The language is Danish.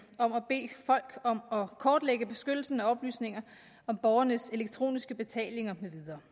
folk om at kortlægge beskyttelsen af oplysninger om borgernes elektroniske betalinger med videre